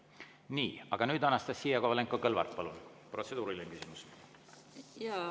Nii, aga nüüd, Anastassia Kovalenko-Kõlvart, palun, protseduuriline küsimus!